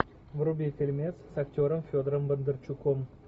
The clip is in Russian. вруби фильмец с актером федором бондарчуком